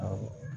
Awɔ